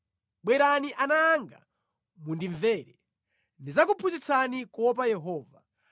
Bwerani ana anga, mundimvere; ndidzakuphunzitsani kuopa Yehova.